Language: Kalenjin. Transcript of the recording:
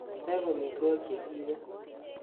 teeb omitwogik chegiibe